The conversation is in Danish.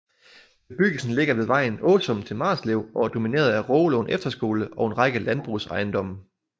Bebyggelsen ligger ved vejen fra Åsum til Marslev og er domineret af Rågelund Efterskole og en række landbrugsejendomme